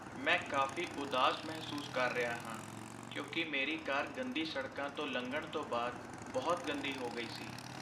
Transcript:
ਮੈਂ ਕਾਫ਼ੀ ਉਦਾਸ ਮਹਿਸੂਸ ਕਰ ਰਿਹਾ ਹਾਂ ਕਿਉਂਕਿ ਮੇਰੀ ਕਾਰ ਗੰਦੀ ਸੜਕਾਂ ਤੋਂ ਲੰਘਣ ਤੋਂ ਬਾਅਦ ਬਹੁਤ ਗੰਦੀ ਹੋ ਗਈ ਸੀ।